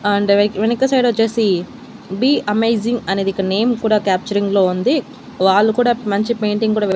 And వెనక side వచ్చేసి be amazing అనేది ఇక్కడ నేమ్ కూడా క్యాప్చరింగ్ లో ఉంది వాళ్ళు కూడా మంచి పెయింటింగ్ కూడా వే.